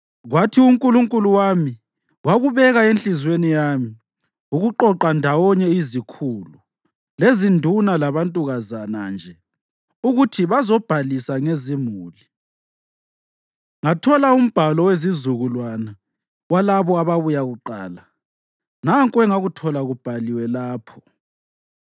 Kwathi uNkulunkulu wami wakubeka enhliziyweni yami ukuqoqa ndawonye izikhulu, lezinduna labantukazana nje ukuthi bazobhalisa ngezimuli. Ngathola umbhalo wezizukulwane walabo ababuya kuqala. Nanku engakuthola kubhaliwe lapho: